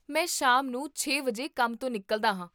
ਮੈਂ ਸ਼ਾਮ ਨੂੰ ਛੇ ਵਜੇ ਕੰਮ ਤੋਂ ਨਿਕਲਦਾ ਹਾਂ